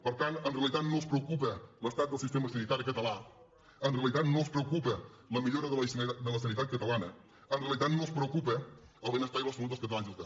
per tant en realitat no els preocupa l’estat del sistema sanitari català en realitat no els preocupa la millora de la sanitat catalana en realitat no els preocupa el benestar i la salut dels catalans i les catalanes